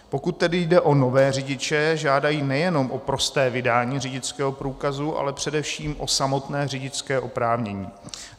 Pokud tedy jde o nové řidiče, žádají nejenom o prosté vydání řidičského průkazu, ale především o samotné řidičské oprávnění.